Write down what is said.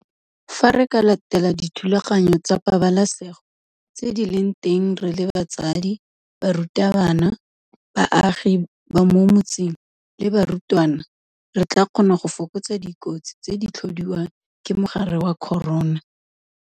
Fa re ka latela dithulaganyo tsa pabalesego tse di leng teng re le batsadi, barutabana, baagi ba mo metseng le barutwana re tla kgona go fokotsa dikotsi tse di tlhodiwang ke mogare wa corona.